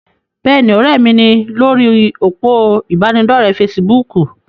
Bẹ́ẹ̀ni, ọ̀rẹ́ mi ni lórí òpó ìbánidọ́rẹ̀ fesibúùkù.